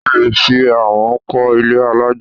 O ò lè fi amọ̀ kọ́ ilé alájà.